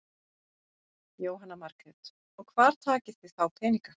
Jóhanna Margrét: Og hvar takið þið þá peninga?